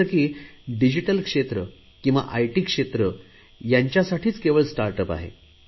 जसे की डिजीटल क्षेत्र किंवा आयटी क्षेत्र यांच्यासाठीच स्टार्टअप आहे